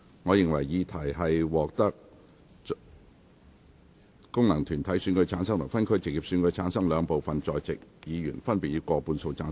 我認為議題獲得經由功能團體選舉產生及分區直接選舉產生的兩部分在席議員，分別以過半數贊成。